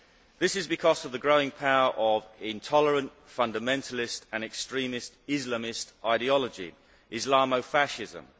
This is because of the growing power of intolerant fundamentalist and extremist Islamist ideology Islamo fascism.